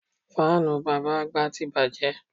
Fáànù bàbá àgbà ti bàjẹ́